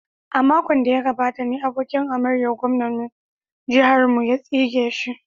A makon da ya gabata ne abokin hamayyar gwamnan jihar mu ya tsige shi.